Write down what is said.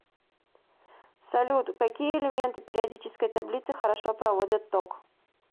салют какие элементы периодической таблицы хорошо проводят ток